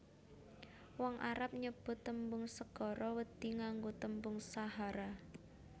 Wong Arab nyebut tembung segara wedhi nganggo tembung sahara